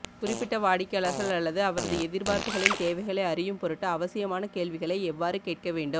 குறிப்பிட்ட வாடிக்கையாளர் அல்லது அவரது எதிர்பார்ப்புகளின் தேவைகளை அறியும் பொருட்டு அவசியமான கேள்விகளை எவ்வாறு கேட்க வேண்டும்